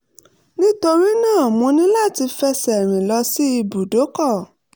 nítorí náà mo ní láti fẹsẹ̀ rìn lọ sí ibùdókọ̀